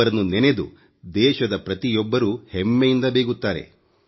ಅವರನ್ನು ನೆನೆದು ದೇಶದ ಪ್ರತಿಯೊಬ್ಬರೂ ಹೆಮ್ಮೆಯಿಂದ ಬೀಗುತ್ತಾರೆ